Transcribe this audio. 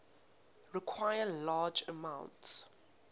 require large amounts